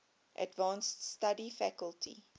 advanced study faculty